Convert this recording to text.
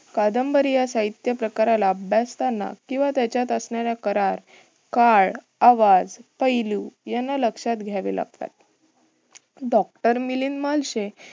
कादंबरी या साहित्य प्रकाराला अभ्यासताना किंवा त्याच्यात असणाऱ्या करार, काळ, आवाज, पैलू याना लक्षात घ्यावे लागतात. doctor मिलिंद महर्षे